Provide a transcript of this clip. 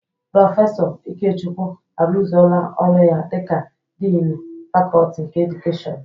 Prọfesọ Ikechukwu arụzoola ọrụ ya dịka diini fakọọti nke edukeshọn.